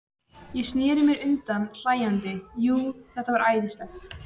Ég sneri mér undan hlæjandi, jú, þetta var æðislegt.